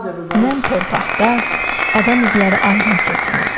Nəm torpaqda adam izləri aydın seçilirdi.